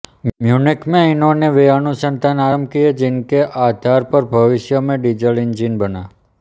Munich में इन्होंने वे अनुसंधान आरंभ किए जिनके आधार पर भविष्य में डीज़ल इंजन बना